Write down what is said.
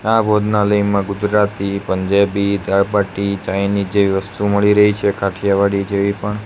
આ ભોજનાલયમાં ગુજરાતી પંજાબી જાપાટી ચાઇનીજ જેવી વસ્તુઓ મળી રહી છે કાઠિયાવાડી જેવી પણ.